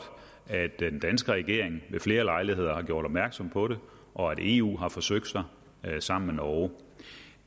at den danske regering ved flere lejligheder har gjort opmærksom på det og at eu har forsøgt sig sammen med norge